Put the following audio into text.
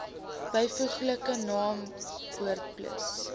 byvoeglike naamwoord plus